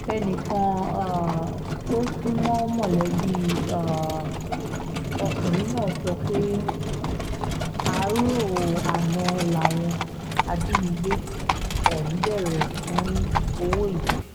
ẹnìkan um tó sún mọ́ mọ̀lẹ́bí um ọkùnrin náà sọ pé àárò àná làwọn ajínigbé ọ̀hún béèrè fún owó yìí